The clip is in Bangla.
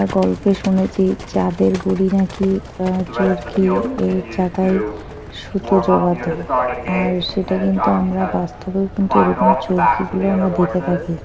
গল্প শুনেছি চাঁদের গুড়ি নাকি আ চোরকি এ চাকায় সুতো জড়াত। আর সেটা কিন্তু আমরা বাস্তবেও কিন্তু এরকম চোরকি গুলো আমরা দেখে থাকি--